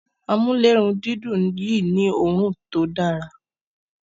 Amulerundidun Yi ni òòrùn tó Dára